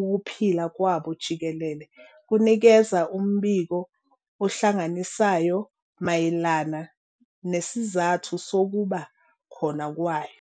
ukuphila kwabo jikelele kunikeza umbiko ohlanganisayo mayelana nesizathu sokuba khona kwayo.